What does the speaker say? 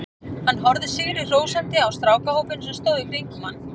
Hann horfði sigri hrósandi á strákahópinn sem stóð í kringum hann.